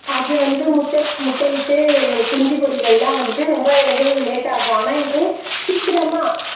அது வந்து முட்டை முட்டையிட்டு குஞ்சு பொரிதெல்லாம் வந்துட்டு ரொம்ப நிகழ்வு லேட்டா ஆகும் ஆனா இது சீக்கிரமா